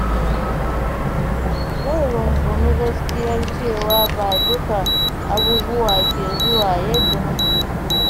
Zan rungumi gaskiyar cewa ba duka abubuwa ke zuwa yadda nake so ba.